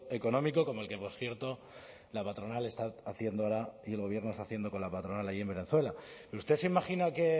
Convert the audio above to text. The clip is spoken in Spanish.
económico como el que por cierto la patronal está haciendo ahora y el gobierno está haciendo con la patronal allí en venezuela pero usted se imagina que